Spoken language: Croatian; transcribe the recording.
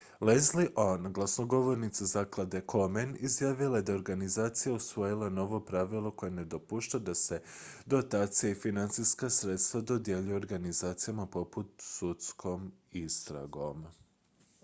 leslie aun glasnogovornica zaklade komen izjavila je da je organizacija usvojila novo pravilo koje ne dopušta da se dotacije i financijska sredstva dodjeljuju organizacijama pod sudskom istragom